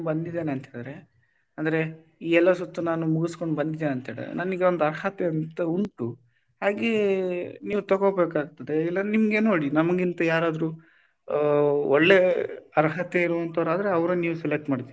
ಬಂದಿದ್ದೇನೆ ಅಂತ ಅಂತಿದ್ದಾರೆ ಅಂದ್ರೆ ಈ ಎಲ್ಲಾ ಸುತ್ತು ನಾನು ಮುಗಿಸ್ಕೊಂಡು ಬಂದಿದೇನೆ ಅಂತ ಹೇಳಿದ್ರೆ ನನಗೆ ಒಂದು ಅರ್ಹತೆ ಅಂತ ಉಂಟು ಹಾಗೆ ನೀವು ತಗೋಬೇಕಾಗ್ತದೆ. ಇಲ್ಲ ನಿಮಗೆ ನೋಡಿ ನಮಗಿಂತ ಯಾರಾದ್ರೂ ಒಳ್ಳೆ ಅರ್ಹತೆ ಇರುವವರಂತಾದ್ರೆ ಅವರನ್ನು ನೀವು select ಮಾಡ್ತೀರಾ,